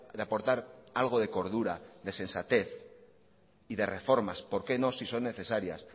de aportar algo de cordura de sensatez y de reformas por qué no si son necesarias